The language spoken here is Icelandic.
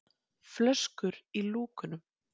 flöskur í lúkunum.